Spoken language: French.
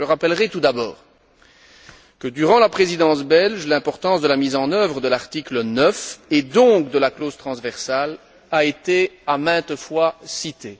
Je rappellerai tout d'abord que durant la Présidence belge, l'importance de la mise en œuvre de l'article 9 et donc de la clause transversale a été maintes fois citée.